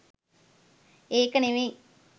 ඒක නෙවෙයි.